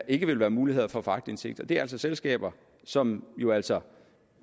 ikke vil være mulighed for at få aktindsigt det er altså selskaber som jo altså